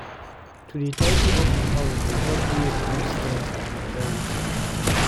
To dey tidy up di house dey help me reduce stress and anxiety.